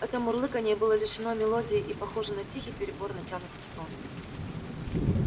это мурлыканье было лишено мелодии и похоже на тихий перебор натянутых струн